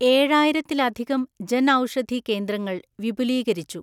ഏഴായിരത്തിലധികം ജൻ ഔഷധി കേന്ദ്രങ്ങള്‍ വിപുലീകരിച്ചു.